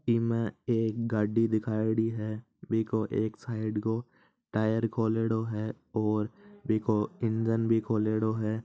इस में एक गाड़ी दिखायेड़ी है बिको एक साइड को टायर खोलेडो है और इन्जिन भी खोलेडो है।